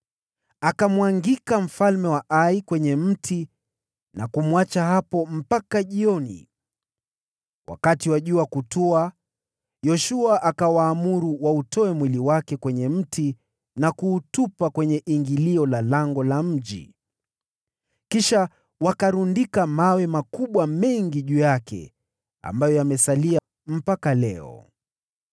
Akamwangika mfalme wa Ai kwenye mti na kumwacha hapo mpaka jioni. Wakati wa jua kutua, Yoshua akawaamuru wautoe mwili wake kwenye mti na kuutupa kwenye ingilio la lango la mji. Kisha wakalundika mawe makubwa mengi juu yake, ambayo yamesalia mpaka leo.